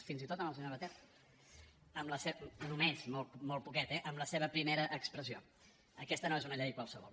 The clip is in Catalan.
fins i tot amb el senyor batet només molt poquet eh amb la seva primera expressió aquesta no és una llei qualsevol